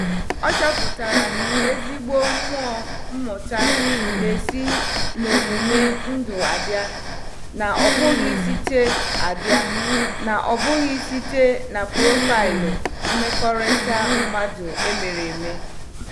Ọ chọpụtara na ezigbo mmụọ mmụta na-esi n'omume ndụ abịa, na-abụghị site abịa, na-abụghị site na profaịlụ mmekọrịta mmadụ emere eme